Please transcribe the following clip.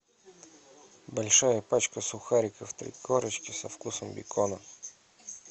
большая пачка сухариков три корочки со вкусом бекона